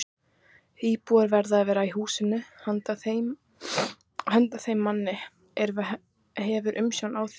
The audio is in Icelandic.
Íbúð verður að vera í húsinu handa þeim manni, er hefur umsjón á því.